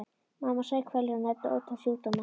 Mamma saup hveljur og nefndi ótal sjúkdóma.